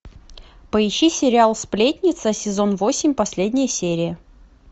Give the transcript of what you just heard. поищи сериал сплетница сезон восемь последняя серия